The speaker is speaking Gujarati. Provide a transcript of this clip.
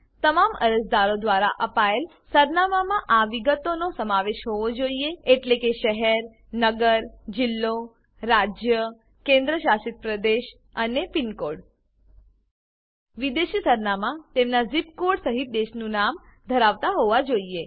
તમામ અરજદારો દ્વારા અપાયેલ સરનામામાં આ વિગતોનો સમાવેશ હોવો જોઈએ એટલે કે શહેર નગર જિલ્લો રાજ્ય કેન્દ્રશાસિત પ્રદેશ અને પીનકોડ વિદેશી સરનામા તેમનાં ઝીપ કોડ સહીત દેશનું નામ ધરાવતા હોવા જોઈએ